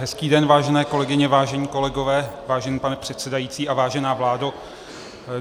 Hezký den, vážené kolegyně, vážení kolegové, vážený pane předsedající a vážená vládo.